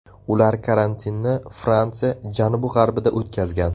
Ular karantinni Fransiya janubi-g‘arbida o‘tkazgan.